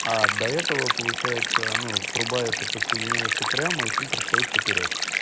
а до этого получается ну труба эта подсоединяется прямо и фильтр стоит поперёк